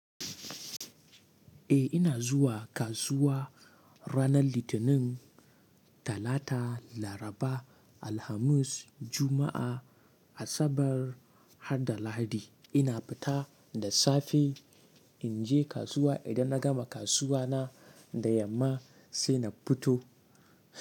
Eh ina zuwa kasuwa. Ranan litinin talata laraba alhamis Juma'a asabar harda lahadi ina fita da safe in je kasuwa. Idan na gama kasuwa na, da yamma sai na fito.